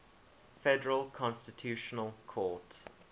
federal constitutional court